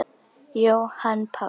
Jóhann Páll